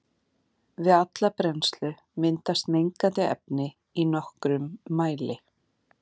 Við alla brennslu myndast mengandi efni í nokkrum mæli.